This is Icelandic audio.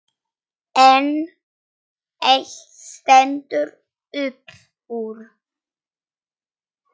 En eitt stendur upp úr.